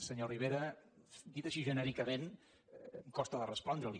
senyor rivera dit així genèricament em costa de respondre li